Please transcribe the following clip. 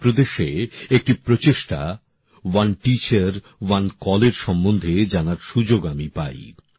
উত্তরপ্রদেশে একটি উদ্যোগ ওয়ান টিচার ওয়ান কল এর সম্বন্ধে জানার সুযোগ আমি পাই